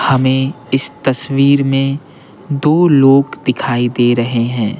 हमें इस तस्वीर में दो लोग दिखाई दे रहे हैं।